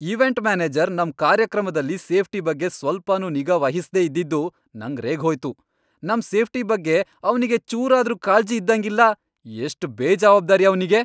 Event manager ನಮ್ ಕಾರ್ಯಕ್ರಮದಲ್ಲಿ safety ಬಗ್ಗೆ ಸ್ವಲ್ಚನೂ ನಿಗಾ ವಹಿಸ್ದೇ ಇದ್ದಿದ್ದು ನಂಗ್ ರೇಗ್ಹೋಯ್ತು. ನಮ್ ಸೇಫ್ಟಿ ಬಗ್ಗೆ ಅವ್ನಿಗ್ ಚೂರಾದ್ರೂ ಕಾಳ್ಜಿ ಇದ್ದಂಗಿಲ್ಲ! ಎಷ್ಟ್ ಬೇಜವಾಬ್ದಾರಿ ಅವ್ನಿಗೆ!